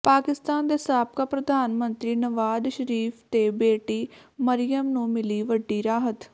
ਪਾਕਿਸਤਾਨ ਦੇ ਸਾਬਕਾ ਪ੍ਰਧਾਨ ਮੰਤਰੀ ਨਵਾਜ਼ ਸ਼ਰੀਫ਼ ਤੇ ਬੇਟੀ ਮਰੀਅਮ ਨੂੰ ਮਿਲੀ ਵੱਡੀ ਰਾਹਤ